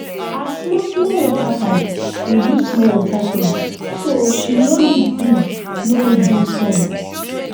her small small water pipe dey use small water force so she no need big no need big pump